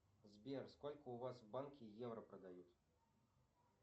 сбер сколько у вас в банке евро продают